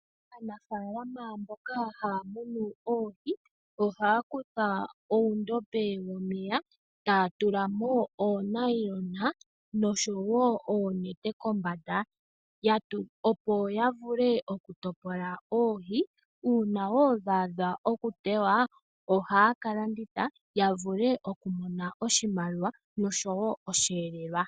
Aanafalama mboka haa munu oohi ohaa kutha uundombe womeya taa tulako uunayilona noshowo oonete kombanda opo ya vule okutopola oohi uuna wo dha adha okutewa ohaa ka landitha ya vule okumona oshimaliwa oshowo oshielelwa.